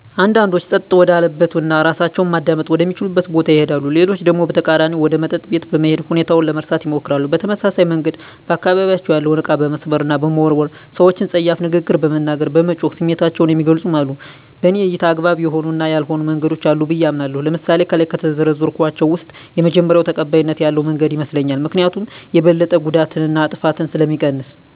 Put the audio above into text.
አንዳንዶች ፀጥታ ወዳለበት እና እራሳቸውን ማዳመጥ ወደ ሚችሉበት ቦታ ይሄዳሉ። ሌሎች ደግሞ በተቃራኒው ወደ መጠጥ ቤት በመሄድ ሁኔታውን ለመርሳት ይሞክራሉ። በተመሳሳይ መንገድ በአካባቢያቸው ያለውን እቃ በመስበር እና በመወርወር፣ ሰወችን ፀያፍ ንግግር በመናገር፣ በመጮህ ስሜታቸውን የሚገልፁም አሉ። በኔ እይታ አግባብ የሆኑ እና ያልሆኑ መንገዶች አሉ ብየ አምናለሁ። ለምሳሌ ከላይ ከዘረዘርኳቸው ውስጥ የመጀመሪው ተቀባይነት ያለው መንገድ ይመስለኛል። ምክኒያቱም የበለጠ ጉዳትን እና ጥፋትን ስለሚቀንስ።